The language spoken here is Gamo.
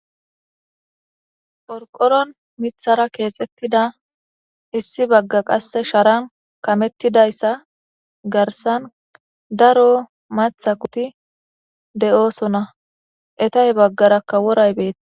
phorqoron mithara keexettida issi bagga qasse sharan kamettidayssa garsan daro matha kuti de7oosona etay baggarakka woray beeta